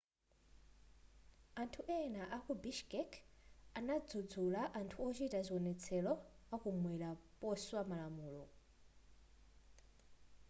anthu ena aku bishkek anadzudzula anthu ochita zionetselo akumwera poswa malamulo